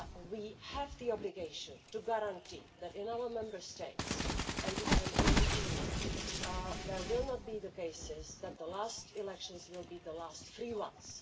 We have the obligation to guarantee that in our Member States and in the EU there will not be the cases that the last elections will be the last free ones.